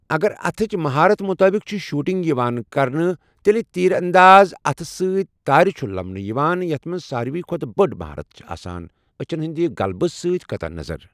اگر اَتھٕچ مہارت مُطٲبِق چھِ شوٹنگ یِوان کرنہٕ تیٚلہِ تیٖر انداز اَتھٕ سۭتۍ تارِ چھُ لَمانہٕ یِوان یَتھ منٛز ساروِی کھۄتہٕ بٔڑۍ مہارت چھِ آسان، أچھن ہٕنٛدِ غلبہٕ سۭتۍ قطع نظر۔